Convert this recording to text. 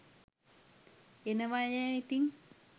එනවයැ ඉතින්